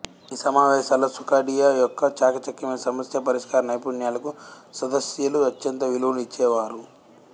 ఈ సమావేశాల్లో సుఖాడియా యొక్క చాకచక్యమైన సమస్యా పరిష్కార నైపుణ్యాలకు సదస్యలు అత్యంత విలువనిచ్చేవారు